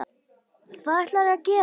Hvað ætlarðu að gera?